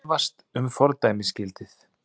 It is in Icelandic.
Efast um fordæmisgildið